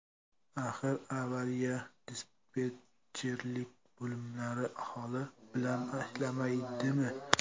Axir avariya-dispetcherlik bo‘limlari aholi bilan ishlamaydimi?